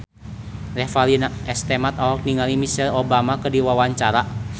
Revalina S. Temat olohok ningali Michelle Obama keur diwawancara